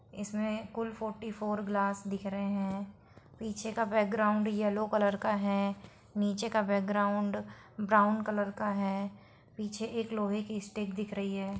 इसमें कुल forty four glass दिख रहे है पीछे का बैकग्राउंड येलो कलर का है नीचे का बैकग्राउंड ब्राउन कलर का है पीछे एक लोहे की स्टिक दिख रही है।